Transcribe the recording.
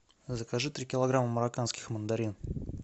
закажи три килограмма марроканских мандарин